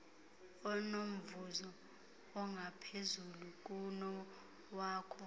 onomvuzo ongaphezulu kunowakho